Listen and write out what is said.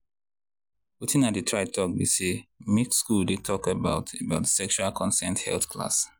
watin i dey try talk be say make school dey talk about about sexual consent health class.